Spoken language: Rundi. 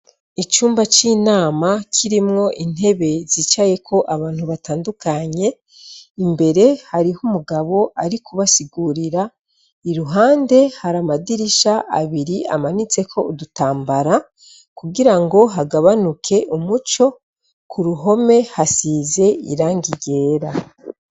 Icumba cinama kirimwo intebe zicayeko abantu batandukanye imbere hariho umugabo ari kubasigurira iruhande hari amadirisha abiri amanitseko udutambara kugira ngo hagabanuke umuco kuruhome hasize irangi ryera